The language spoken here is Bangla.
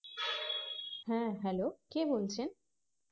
হ্যাঁ Hello কে বলছেন